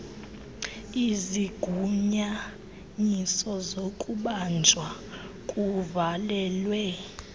izigunyanyiso zokubanjwa kuvalelwe